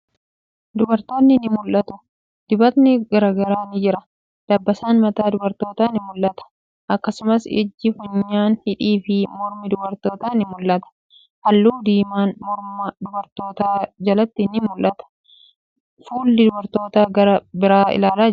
Dubartootni ni mul'atu. Dibatni garagaraa ni jira. Dabbasaan mataa dubartootaa ni mul'ata. Akkasumas ijji, funyaan, hidhii fi mormi dubartootaa ni mul'ata. Haalluu diiman morma dubartoota jalatti ni mul'ata. Fuulli dubartootaa gara biraa ilaalaa jira.